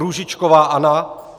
Růžičková Anna